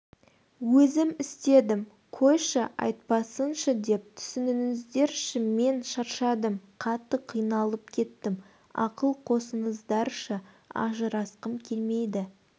өзім істедім қойшы айтпасыншы деп түсініңіздерші мен шаршадым қатты қиналып кеттім ақыл қосыңыздаршы ажырасқым келмейді